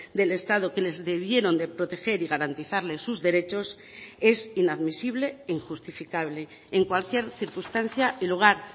del estado que les debieron de proteger y garantizarles sus derechos es inadmisible e injustificable en cualquier circunstancia y lugar